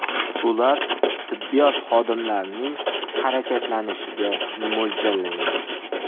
Ular tibbiyot xodimlarining harakatlanishiga mo‘ljallangan.